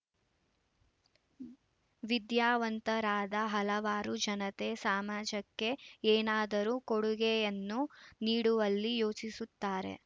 ವಿದ್ಯಾವಂತರಾದ ಹಲವಾರು ಜನತೆ ಸಾಮಾಜಕ್ಕೆ ಏನಾದರೂ ಕೊಡುಗೆಯನ್ನು ನೀಡುವಲ್ಲಿ ಯೋಚಿಸುತ್ತಾರೆ